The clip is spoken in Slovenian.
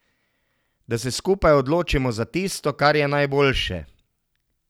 Da se skupaj odločimo za tisto, kar je najboljše.